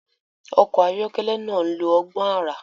Ọkọ̀ ayọ́kẹ́lẹ́ náà ń lo ọgbọ́n àrà.